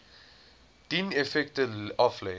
dien effekte aflê